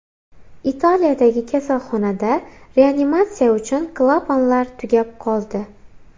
Italiyadagi kasalxonada reanimatsiya uchun klapanlar tugab qoldi.